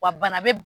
Wa bana bɛ